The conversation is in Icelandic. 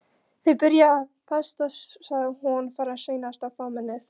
Þeir byrja vestast, sagði hún, fara seinast í fámennið.